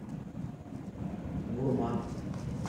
гурман